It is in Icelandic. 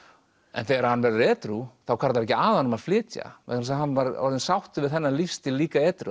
en þegar hann verður edrú þá hvarflar ekki að honum að flytja vegna þess að hann var sáttur við þennan lífsstíl líka edrú